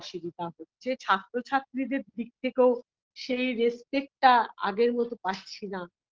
অসুবিধা হচ্ছে ছাত্র-ছাত্রীদের দিক থেকেও সেই respect -টা আগের মত পাচ্ছিনা